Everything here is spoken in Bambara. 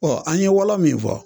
Ɔ an ye wɔlɔ min fɔ